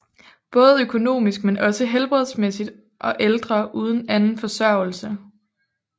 Både økonomisk men også helbredsmæssigt og ældre uden anden forsørgelse